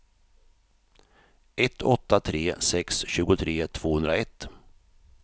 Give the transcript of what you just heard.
ett åtta tre sex tjugotre tvåhundraett